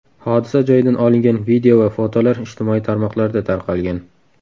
Hodisa joyidan olingan video va fotolar ijtimoiy tarmoqlarda tarqalgan.